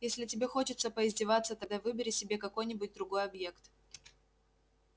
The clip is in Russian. если тебе хочется поиздеваться тогда выбери себе какой-нибудь другой объект